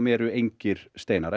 eru engir steinar